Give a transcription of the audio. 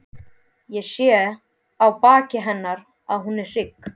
Ég sé á baki hennar að hún er hrygg.